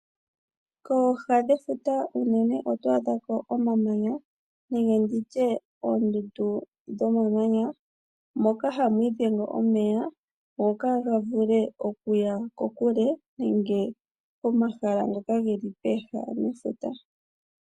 Kooha dhefuta unene oto adhako omamanya nenge nditye oondundu dhomamanya moka hamu idhenge omeya opo kaaga vule okuya kokule nenge komahala ngoka geli pooha nefuta.